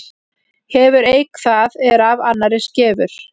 Hefur eik það er af annarri skefur.